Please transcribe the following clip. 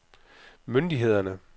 myndighederne